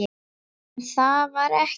En það var ekki.